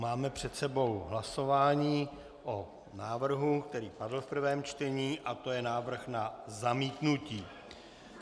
Máme před sebou hlasování o návrhu, který padl v prvém čtení, a to je návrh na zamítnutí.